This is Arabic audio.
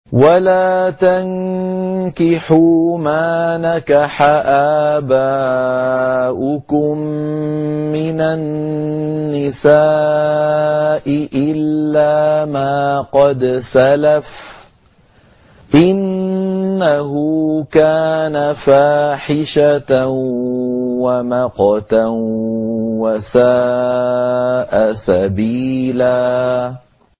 وَلَا تَنكِحُوا مَا نَكَحَ آبَاؤُكُم مِّنَ النِّسَاءِ إِلَّا مَا قَدْ سَلَفَ ۚ إِنَّهُ كَانَ فَاحِشَةً وَمَقْتًا وَسَاءَ سَبِيلًا